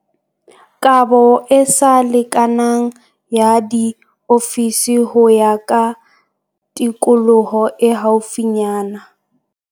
Kabo e sa lekanang ya diofisi ho ya ka tikoloho e haufinyana.